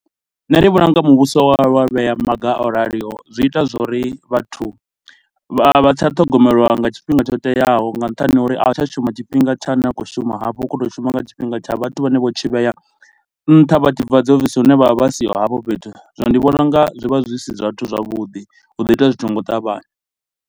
Nṋe ndi vhona u nga muvhuso wa vhuya wa vhea maga o raliho zwi ita zwori vhathu vha tsha ṱhogomelwa nga tshifhinga tsho teaho nga nṱhani ho uri a hu tsha shuma tshifhinga thsa na khou shuma hafho. Hu khou to shuma nga tshifhinga tsha vhathu vhane vho tshi vhea nṱha vha tshi bva dzi ofisi hune vha vha vha siho hafho fhethu, zwino ndi vhona unga zwi vha zwi si zwithu zwavhuḓi, hu ḓo itea zwi tshi nga u ṱavhanya.